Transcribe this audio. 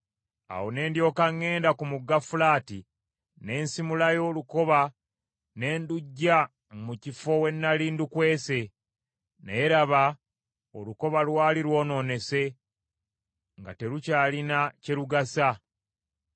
Awo ne ndyoka ŋŋenda ku mugga Fulaati, ne nsimulayo olukoba ne nduggya mu kifo we nnali ndukwese. Naye laba, olukoba lwali lwonoonese, nga terukyalina kye lugasa.